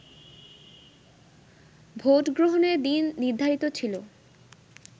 ভোটগ্রহণের দিন নির্ধারিত ছিল